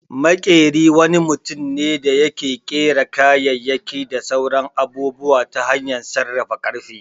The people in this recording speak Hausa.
Maƙyeri wani mutum ne da yake ƙera kayayyaki da sauran abubuwa ta hanyar sarrafa ƙarfe